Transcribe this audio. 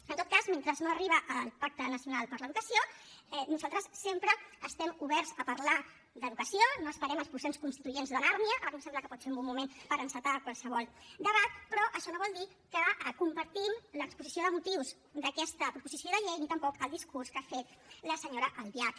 en tot cas mentre no arriba el pacte nacional per a l’educació nosaltres sempre estem oberts a parlar d’educació no esperem els processos constituents de nàrnia ara que sembla que pot ser un bon moment per encetar qualsevol debat però això no vol dir que compartim l’exposició de motius d’aquesta proposició de llei ni tampoc el discurs que ha fet la senyora albiach